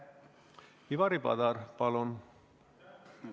Ivari Padar, palun!